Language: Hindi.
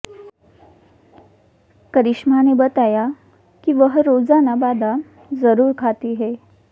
करिश्मा ने बताया कि वह रोजाना बादाम जरूर खाती हैं